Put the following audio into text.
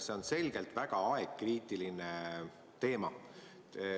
See on selgelt väga ajakriitiline teema.